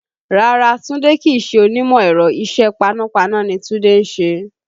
Rárá, Tunde kì í ṣe onímọ̀ ẹ̀rọ. Isẹ paná paná ni Tunde ń ṣe